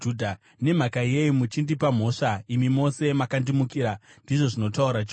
“Seiko muchindipa mhosva? Imi mose makandimukira,” ndizvo zvinotaura Jehovha.